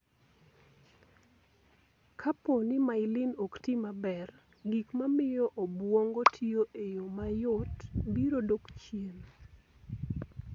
Kapo ni myelin ok ti maber, gik ma miyo obwongo tiyo e yo mayot, biro dok chien.